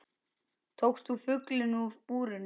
Tókst þú fuglinn úr búrinu?